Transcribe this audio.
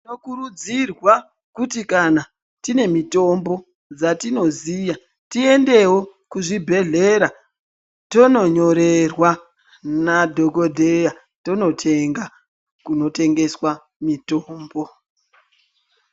Tinokurudzirwa kuti kana tiine mitombo dzatinoziya tiendewo kuzvibhedhlera tononyorerwa nadhokodheya tonotenga kunotengeswa mitombo.